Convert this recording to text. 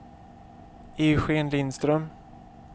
Eugen Lindström